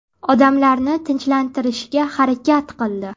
Odamlarni tinchlantirishga harakat qildi.